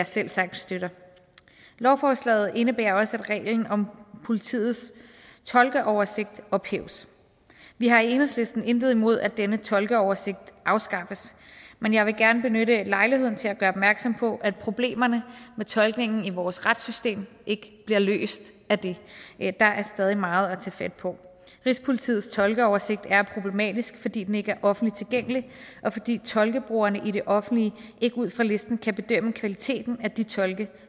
selvsagt støtter lovforslaget indebærer også at reglen om politiets tolkeoversigt ophæves vi har i enhedslisten intet imod at denne tolkeoversigt afskaffes men jeg vil gerne benytte lejligheden til at gøre opmærksom på at problemerne med tolkningen i vores retssystem ikke bliver løst af det der er stadig meget at tage fat på rigspolitiets tolkeoversigt er problematisk fordi den ikke er offentligt tilgængelig og fordi tolkebrugerne i det offentlige ikke ud fra listen kan bedømme kvaliteten af de tolke